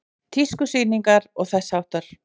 Tískusýningar og þess háttar?